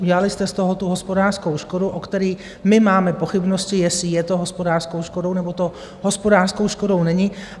Udělali jste z toho tu hospodářskou škodu, o které my máme pochybnosti, jestli je to hospodářskou škodou, nebo to hospodářskou škodou není.